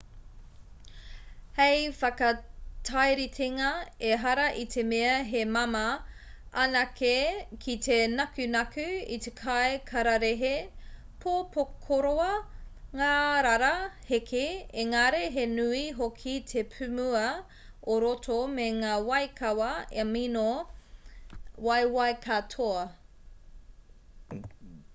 hei whakatairitenga ehara i te mea he māmā anake ki te nakunaku i te kai kararehe pōpokorua ngārara hēkī engari he nui hoki te pūmua o roto me ngā waikawa amino waiwai katoa